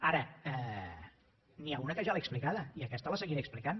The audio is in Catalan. ara n’hi ha una que ja l’he explicada i aquesta la seguiré explicant